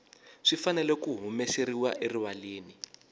swi fanele ku humeseriwa erivaleni